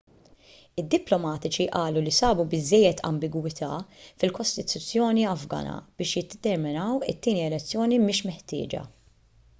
id-diplomatiċi qalu li sabu biżżejjed ambigwità fil-kostituzzjoni afgana biex jiddeterminaw it-tieni elezzjoni mhix meħtieġa